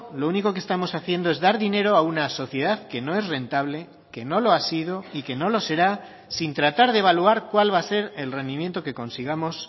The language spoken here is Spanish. lo único que estamos haciendo es dar dinero a una sociedad que no es rentable que no lo ha sido y que no lo será sin tratar de evaluar cuál va a ser el rendimiento que consigamos